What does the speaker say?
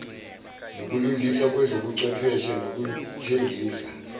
nokulungiswa kwezobuchwepheshe nezokuthengisa